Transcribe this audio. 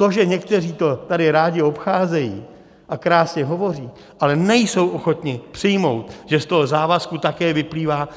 To, že někteří to tady rádi obcházejí a krásně hovoří, ale nejsou ochotni přijmout, že z toho závazku také vyplývá